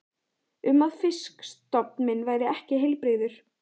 um að fisk- stofn minn væri ekki heilbrigður.